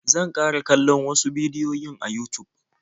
Zan ƙara kallon wasu bidiyoyin a Yutub.